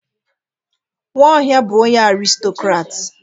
Nwaohia bu onye aristokrat.